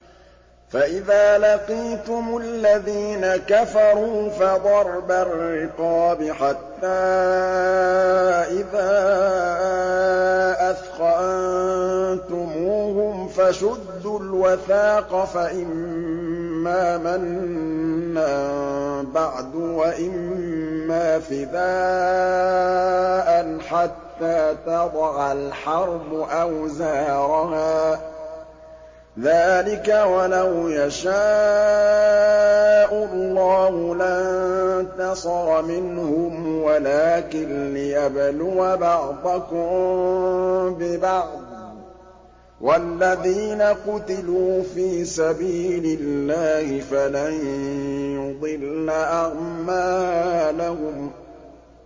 فَإِذَا لَقِيتُمُ الَّذِينَ كَفَرُوا فَضَرْبَ الرِّقَابِ حَتَّىٰ إِذَا أَثْخَنتُمُوهُمْ فَشُدُّوا الْوَثَاقَ فَإِمَّا مَنًّا بَعْدُ وَإِمَّا فِدَاءً حَتَّىٰ تَضَعَ الْحَرْبُ أَوْزَارَهَا ۚ ذَٰلِكَ وَلَوْ يَشَاءُ اللَّهُ لَانتَصَرَ مِنْهُمْ وَلَٰكِن لِّيَبْلُوَ بَعْضَكُم بِبَعْضٍ ۗ وَالَّذِينَ قُتِلُوا فِي سَبِيلِ اللَّهِ فَلَن يُضِلَّ أَعْمَالَهُمْ